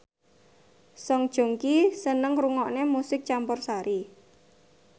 Song Joong Ki seneng ngrungokne musik campursari